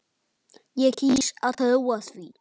Ég kýs að trúa því.